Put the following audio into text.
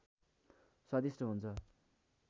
स्वादिष्ट हुन्छ